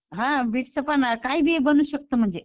हां बिटचं पण काय बी बनू शकतं म्हणजे